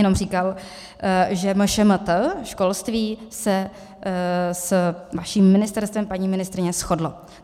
Jenom říkal, že MŠMT, školství, se s vaším ministerstvem, paní ministryně, shodlo.